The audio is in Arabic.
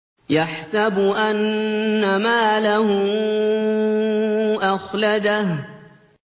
يَحْسَبُ أَنَّ مَالَهُ أَخْلَدَهُ